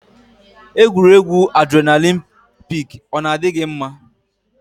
Egwuregwu adrenalin pik ọ na-adị gị mma?